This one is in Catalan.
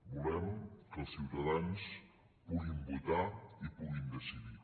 volem que els ciutadans puguin votar i puguin decidir